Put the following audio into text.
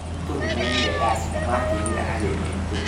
Arutwo nĩmainire ndaci na makĩinĩra ageni aitũ